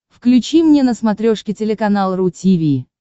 включи мне на смотрешке телеканал ру ти ви